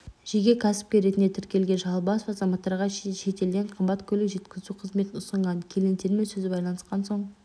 жеке кәсіпкер ретінде тіркелген шалбасов азаматтарға шетелден қымбат көлік жеткізу қызметін ұсынған клиенттермен сөз байланысқан соң